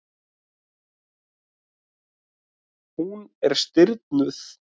Hún er stirðnuð.